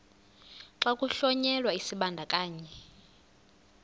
xa kuhlonyelwa isibandakanyi